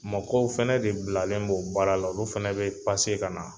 Mɔkɔw fɛnɛ de bilalen b'o baara la olu fɛnɛ bɛ ka na.